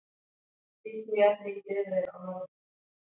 Fíkniefni í bifreið á norðurleið